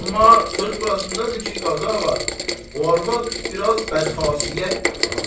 Amma söz burasındadır ki, Qazı ağa, o arvad biraz bədxasiyyətdir ha.